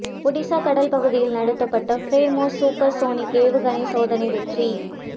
ஒடிசா கடல் பகுதியில் நடத்தப்பட்ட பிரம்மோஸ் சூப்பர்சோனிக் ஏவுகணை சோதனை வெற்றி